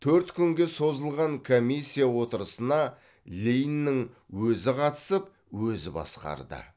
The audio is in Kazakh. төрт күнге созылған комиссия отырысына лениннің өзі қатысып өзі басқарды